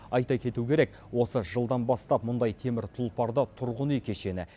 айта кету керек осы жылдан бастап мұндай темір тұлпарды тұрғын үй кешені